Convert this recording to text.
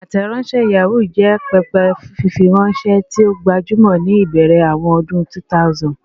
Ateronse Yahoo jẹ pẹpẹ fifiranṣẹ ti o gbajumọ ni ibẹrẹ awọn ọdun 2000.